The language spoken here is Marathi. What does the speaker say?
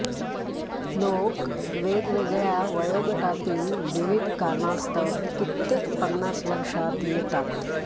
लोक वेगवेगळ्या वयोगटातील विविध कारणास्तव कित्येक पन्नास वर्षांत येतात